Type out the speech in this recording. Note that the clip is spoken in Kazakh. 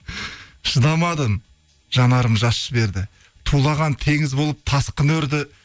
шыдамадым жанарым жас жіберді тулаған теңіз болып тасқын өрді